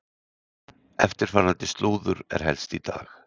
Eftirfarandi slúður er helst í dag: